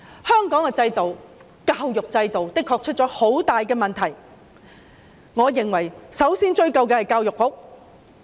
香港的教育制度的確出現了很大問題，我認為首先要追究教育局。